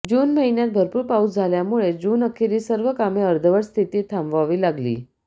जून महिन्यात भरपूर पाऊस झाल्यामुळे जूनअखेरीस सर्व कामे अर्धवट स्थितीत थांबवावी लागली